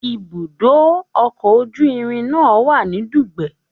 Ibùdó ọkọ̀ ojú irin náà wà ní Dugbe